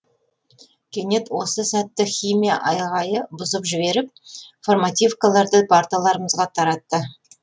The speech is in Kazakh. кенет осы сәтті химия бұзып жіберіп формативкаларды парталарымызға таратты